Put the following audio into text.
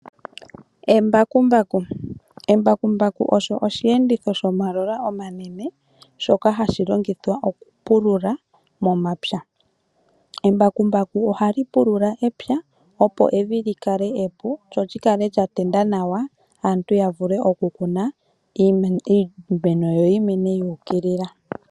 Embakumbaku osho osheenditho shomagulu omanene, shoka hashi longithwa okupulula momapya. Embakumbaku ohali pulula epya opo evi li kale epu lyo li kale lya tenda nawa opo aantu ya vule okukuna yo iimeno yi mene yuukilila.